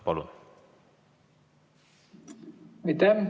Palun!